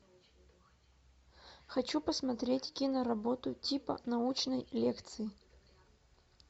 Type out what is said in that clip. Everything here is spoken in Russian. хочу посмотреть киноработу типа научной лекции